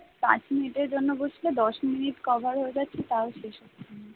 পাঁচ মিনিটের জন্য বসলে দস মিনিট কভার হয়ে যাচ্ছে তাও শেষ হচ্ছে না।